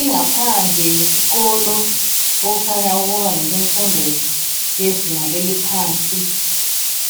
Ingaphandle yesikolo okukhanya ukuba ngesemfundo yezinga eliphansi